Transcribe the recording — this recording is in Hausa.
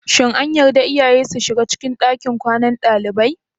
Shin an yarda iyaye su shiga cikin ɗakin kwanan dalibai?